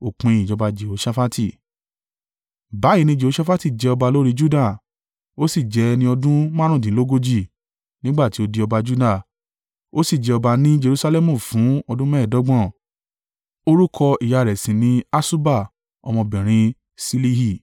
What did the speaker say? Báyìí ni Jehoṣafati jẹ ọba lórí Juda. Ó sì jẹ́ ẹni ọdún márùndínlógójì. Nígbà tí ó di ọba Juda, ó sì jẹ ọba ní Jerusalẹmu fún ọdún mẹ́ẹ̀ẹ́dọ́gbọ̀n. Orúkọ ìyá rẹ̀ sì ni Asuba ọmọbìnrin Silihi.